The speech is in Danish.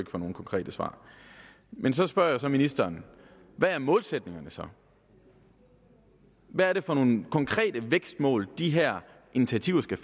få nogen konkrete svar man så spørger jeg ministeren hvad er målsætningerne så hvad er det for nogle konkrete vækstmål de her initiativer skal